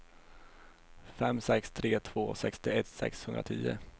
fem sex tre två sextioett sexhundratio